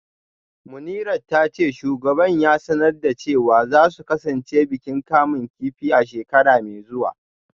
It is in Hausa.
Munirat ta ce shugaban ya sanar da cewa za su kasance bikin kamun kifi a shekara mai zuwa